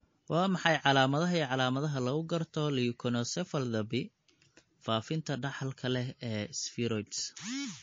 Waa maxay calaamadaha iyo calaamadaha lagu garto leukoencephalopathy faafinta dhaxalka leh ee spheroids?